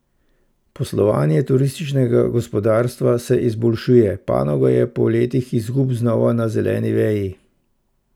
Poslovanje turističnega gospodarstva se izboljšuje, panoga je po letih izgub znova na zeleni veji.